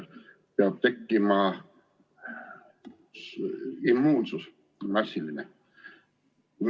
Peab tekkima massiline immuunsus.